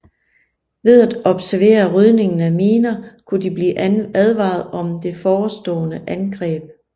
Ved at observere rydningen af miner kunne de blive advaret om det forestående angreb